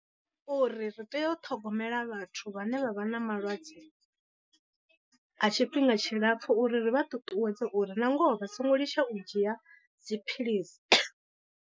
Uri ri tea u ṱhogomela vhathu vhane vha vha na malwadze a tshifhinga tshilapfu uri ri vha ṱuṱuwedze uri na ngoho vha songo litsha u dzhia dziphilisi.